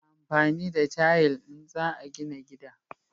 A na amfani da tayil in za a gina gida